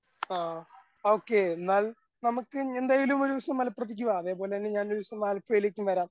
ആ ഓക്കേ എന്നാൽ നമുക്ക് എന്തായാലും ഒരു ദിവസം മലപ്പുറത്തേക്ക് വാ അതേപോലെ തന്നെ ഞാൻ ഒരു ദിവസം ആലപ്പുഴയിലേക്കും വരാം.